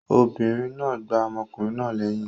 Obìnrin náà gbá ọmọkùnrin náà lẹyìn.